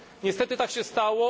Niestety tak się stało.